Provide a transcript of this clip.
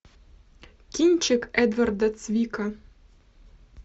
кинчик эдварда цвика